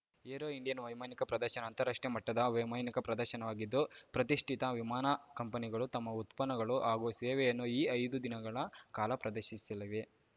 aero Indian ವೈಮಾನಿಕ ಪ್ರದರ್ಶನ ಅಂತಾರಾಷ್ಟ್ರೀಯ ಮಟ್ಟದ ವೈಮಾನಿಕ ಪ್ರದರ್ಶನವಾಗಿದ್ದು ಪ್ರತಿಷ್ಠಿತ ವಿಮಾನ ಕಂಪನಿಗಳು ತಮ್ಮ ಉತ್ಪನ್ನಗಳು ಹಾಗೂ ಸೇವೆಯನ್ನು ಈ ಐದು ದಿನಗಳ ಕಾಲ ಪ್ರದರ್ಶಿಸಲಿವೆ